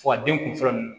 Wa den kun fɔlɔ nun